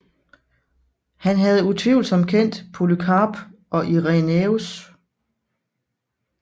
Han havde utvivlsomt kendt Polykarp og Irenæus